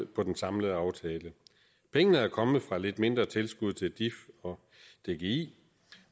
på den samlede aftale pengene er kommet fra et lidt mindre tilskud til dif og dgi